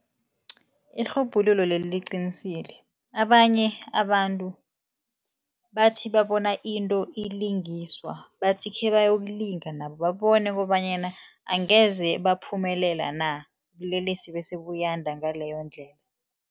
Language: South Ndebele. Irhubhululo leli liqinisile, abanye abantu bathi babona into ilingiswa bathi khebayokulinga nabo, babone kobanyana angeze baphumelela na, ubulelesi bese buyanda ngaleyo ndlela.